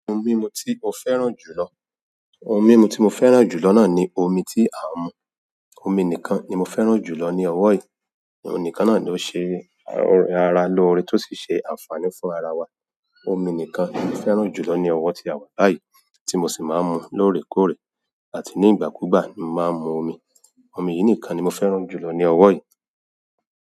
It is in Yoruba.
Ohun mímu tí mo fẹ́ràn jù lọ, ohun mímu tí mo fẹ́ràn jù lọ náà ni omi tí à ń mu. Omi nìkan ni mo fẹ́ràn jù lọ ní ọwọ́ yìí. Oun nìkan náà ló ṣe ara lóore tó sì ṣe ànfààní fún ara wa. Omi nìkan ni mo fẹ́ràn jù lọ ní ọwọ́ tí a wà báyìí, tí mo sì máa ń mu lóòrèkóòrè àti ní ìgbàkúgbà ni màá ń mu omi. Omi yìí nìkan ni mo fẹ́ràn jù lọ ní ọwọ́ yìí.